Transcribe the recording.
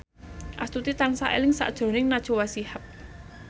Astuti tansah eling sakjroning Najwa Shihab